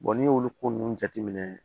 n'i y'olu ko nunnu jate minɛ